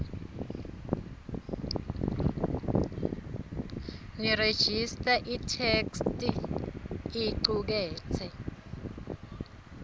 nerejista itheksthi icuketse